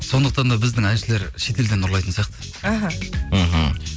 сондықтан да біздің әншілер шетелден ұрлайтын сияқты іхі мхм